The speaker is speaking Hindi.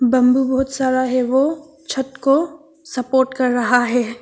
बंबू बहुत सारा है वो छत को सपोर्ट कर रहा है।